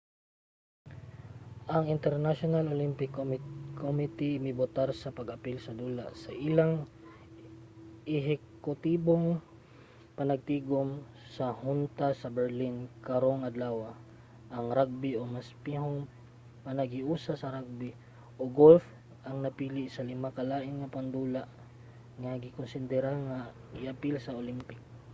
ang international olympic committee mibotar sa pag-apil sa dula sa ilang ehekutibong panagtigum sa hunta sa berlin karong adlawa. ang ragbi o mas pihong panaghiusa sa ragbi ug golf ang napili sa lima ka lain pang dula nga gikonsidera nga i-apil sa olympic